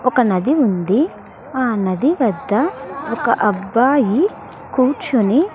ఒక నది ఉంది ఆ నది వద్ద ఒక అబ్బాయి కూర్చొని.